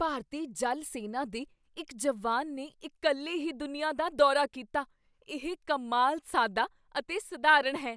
ਭਾਰਤੀ ਜਲ ਸੈਨਾ ਦੇ ਇੱਕ ਜਵਾਨ ਨੇ ਇਕੱਲੇ ਹੀ ਦੁਨੀਆ ਦਾ ਦੌਰਾ ਕੀਤਾ। ਇਹ ਕਮਾਲ, ਸਾਦਾ ਅਤੇ ਸਧਾਰਨ ਹੈ!